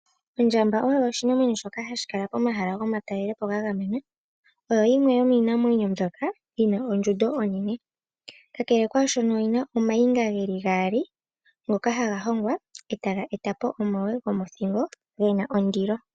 Ondjamba oyo oshinamwenyo shoka hashi kala pomahala gomatalelepo gagamenwa. Oyo yimwe yomiinamwenyo mbyoka yina ondjundo onene kakele kwashono oyina omayinga geli gaali ngoka haga hongwa etaga etapo omagwe gomothingo gena ondilo.